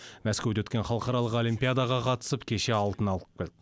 мәскеуде өткен халықаралық олимпиадаға қатысып кеше алтын алып келді